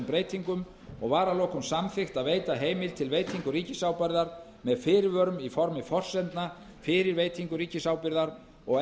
breytingum og var að lokum samþykkt að veita heimild til veitingu ríkisábyrgðar með fyrirvörum í formi forsendna fyrir veitingu ríkisábyrgðar og